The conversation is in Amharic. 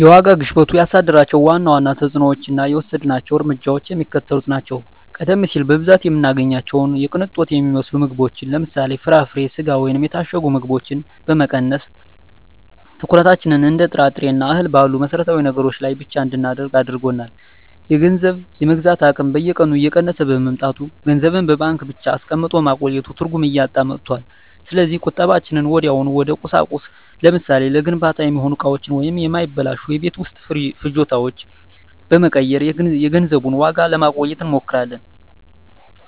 የዋጋ ግሽበቱ ያሳደራቸው ዋና ዋና ተፅዕኖዎችና የወሰድናቸው እርምጃዎች የሚከተሉት ናቸው፦ ቀደም ሲል በብዛት የምንገዛቸውን የቅንጦት የሚመስሉ ምግቦችን (ለምሳሌ፦ ፍራፍሬ፣ ስጋ ወይም የታሸጉ ምግቦች) በመቀነስ፣ ትኩረታችንን እንደ ጥራጥሬና እህል ባሉ መሠረታዊ ነገሮች ላይ ብቻ እንድናደርግ አድርጎናል። የገንዘብ የመግዛት አቅም በየቀኑ እየቀነሰ በመምጣቱ፣ ገንዘብን በባንክ ብቻ አስቀምጦ ማቆየት ትርጉም እያጣ መጥቷል። ስለዚህ ቁጠባችንን ወዲያውኑ ወደ ቁሳቁስ (ለምሳሌ፦ ለግንባታ የሚሆኑ እቃዎች ወይም የማይበላሹ የቤት ውስጥ ፍጆታዎች) በመቀየር የገንዘቡን ዋጋ ለማቆየት እንሞክራለን።